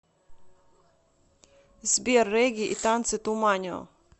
сбер регги и танцы туманио